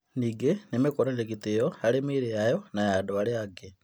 Ningĩ nĩ mekũonania gĩtĩo harĩ mĩĩrĩ yao na ya andũ arĩa angĩ.